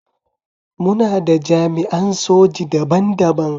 Muna da jami’an soji daban-daban.